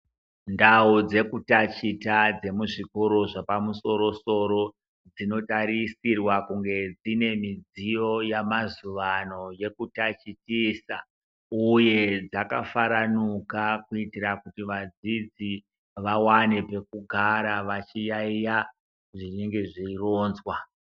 Ndau dzekutaticha dzemuzvikora chepamusorosoro dzintarisirwa kunge dzive nemudziyo yemazuva ano yekutatichisa uye dzakafaranuka kuitira kuti vadzidzi vawane pekugara veiyaiya zvinenge zveronzwa.